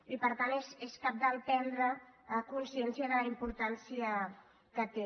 i per tant és cabdal prendre consciència de la importància que té